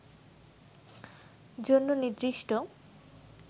জন্য নির্দিষ্ট